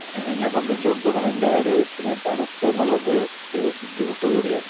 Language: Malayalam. എന്നെ സംബന്ധിച്ചിടത്തോളം എന്റെ ആരോഗ്യത്തിന് തണുപ്പ് എന്നുള്ളത് ഒരു ബുദ്ധിമുട്ട് കൂടിയാണ്.